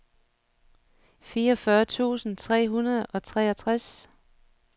fireogfyrre tusind tre hundrede og treogtres